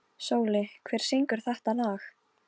Ég sá Álfrúnu í nótt þegar ég sat við gluggann.